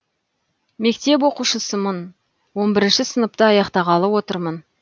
мектеп оқушысымын он бірінші сыныпты аяқтағалы отырмын